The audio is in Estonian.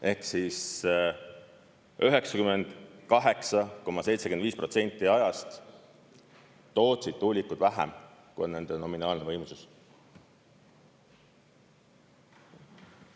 Ehk siis 98,75% ajast tootsid tuulikud vähem, kui on nende nominaalne võimsus.